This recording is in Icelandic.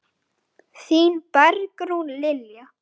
Þín Bergrún Lilja.